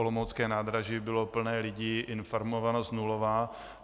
Olomoucké nádraží bylo plné lidí, informovanost nulová.